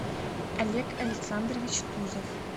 олег александрович тузов